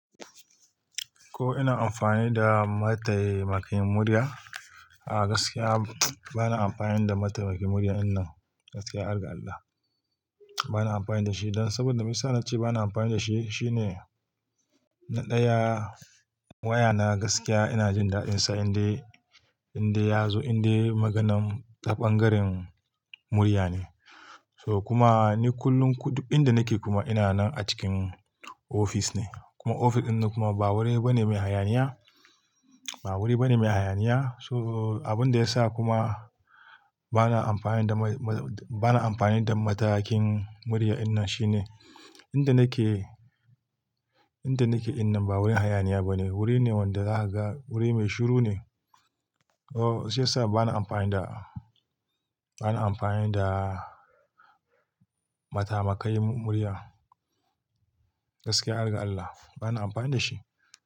Ko ina amfani da mataimakin murya? Ah gaskiya bana amfani da matakai murya innan, gaskiya har ga Allah. Bana amfani da shi, don saboda me yasa na ce bana amfani da shi shine, na ɗaya waya na gaskiya ina jin daɗ'insa indai, indai ya zo, indai maganan taɓangarin murya ne. To kuma ni kullum kudu inda nake kuma ina nan a cikin ofis ne. Kuma ofis ɗin nan kuma ba wuri bane mai hayaniya, ba wuri bane mai hayaniya. So, abin da yasa kuma bana amfani da ma-ma bana amfani da matakin murya wannan shine, inda nake, inda nake innan ba wurin hayaniya bane. Wuri ne wanda za ha ga, wuri mai shiru ne. Oh, shi yasa bana amfani da, bana amfani da matamakai murya, gaskiya har ga Allah, bana amfani da shi.